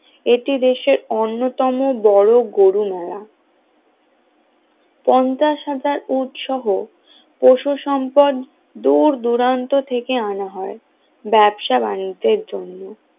এটি দেশের অন্যতম বড় গরু মেলা পঞ্চাশ হাজার উট সহ পশু সম্পদ দূর দূরান্ত থেকে আনা হয় ব্যবসা-বাণিজ্যের জন্য